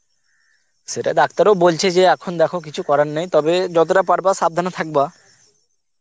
সে doctor ও বলছে এখন দেখো কিছু করার নাই তবে যতটা পারবা সাবধানে থাকবা